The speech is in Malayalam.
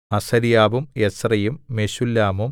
അസര്യാവും എസ്രയും മെശുല്ലാമും